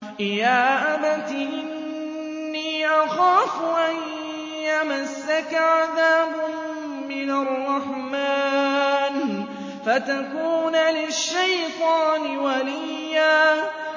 يَا أَبَتِ إِنِّي أَخَافُ أَن يَمَسَّكَ عَذَابٌ مِّنَ الرَّحْمَٰنِ فَتَكُونَ لِلشَّيْطَانِ وَلِيًّا